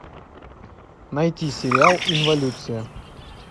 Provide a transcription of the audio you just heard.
найти сериал инволюция